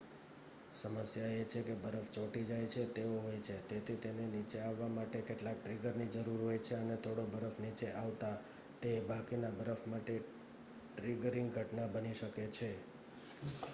સમસ્યા એ છે કે બરફ ચોંટી જાય તેવો હોય છે તેથી તેને નીચે આવવા માટે કેટલાક ટ્રિગરની જરૂર હોય છે અને થોડો બરફ નીચે આવતા તે બાકીના બરફ માટે ટ્રિગરિંગ ઘટના બની શકે છે